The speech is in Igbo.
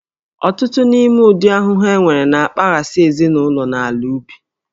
Ọtụtụ n'ime ụdị ahụhụ enwere na-akpaghasị ezinụlọ na ala ubi